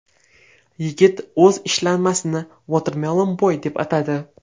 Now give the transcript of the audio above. Yigit o‘z ishlanmasini Watermelon Boy deb atadi.